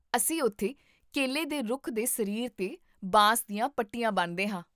ਅਸੀਂ ਉੱਥੇ ਕੇਲੇ ਦੇ ਰੁੱਖ ਦੇ ਸਰੀਰ 'ਤੇ ਬਾਂਸ ਦੀਆਂ ਪੱਟੀਆਂ ਬੰਨ੍ਹਦੇ ਹਾਂ